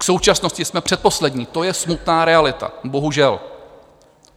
K současnosti jsme předposlední, to je smutná realita, bohužel.